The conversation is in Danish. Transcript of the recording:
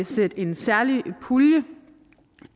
sætte en særlig pulje